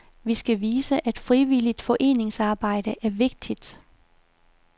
Vi skal vise, at frivilligt foreningsarbejde er vigtigt.